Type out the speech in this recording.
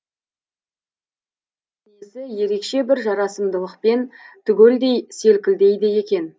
күлгенде мол денесі ерекше бір жарасымдылықпен түгелдей селкілдейді екен